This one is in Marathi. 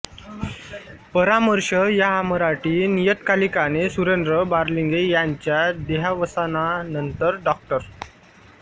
परामर्श या मराठी नियतकालिकाने सुरेंद्र बारलिंगे यांच्या देहावसानानंतर डॉ